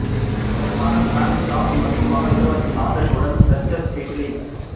அவரது மகன் prince George மற்றும் மகள் இளவரசி சார்லோட் உடன் டச்சஸ் கெய்ட்லின்